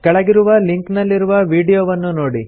ಕೆಳಗಿರುವ ಲಿಂಕ್ ನಲ್ಲಿರುವ ವೀಡಿಯೊವನ್ನು ನೋಡಿ